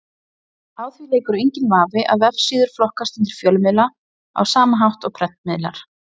Á því leikur enginn vafi að vefsíður flokkast undir fjölmiðla á sama hátt og prentmiðlar.